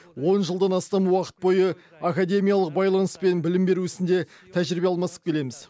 он жылдан астам уақыт бойы академиялық байланыс пен білім беру ісінде тәжірибе алмасып келеміз